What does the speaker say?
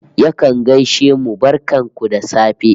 Yakan gaishe mu "barkan ku da safe"